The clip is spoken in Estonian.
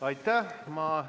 Aitäh!